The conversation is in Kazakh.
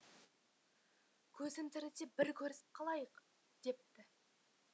көзім тіріде бір көрісіп қалайық депті